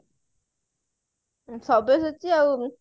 ସବ୍ୟସାଚୀ ଆଉ